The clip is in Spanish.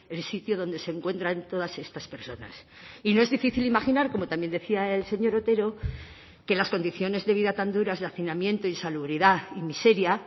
el sitio donde se encuentran todas estas personas y no es difícil imaginar como también decía el señor otero que las condiciones de vida tan duras de hacinamiento y salubridad y miseria